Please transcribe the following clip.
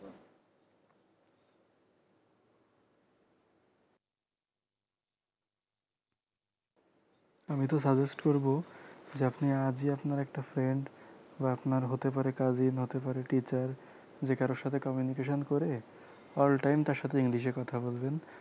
আমি তো suggest করব যে আপনি আজই আপনার একটা friend বা আপনার হতে পারে cousin হতে পারে teacher যে কারো সাথে communication করে all time তার সাথে english এ কথা বলবেন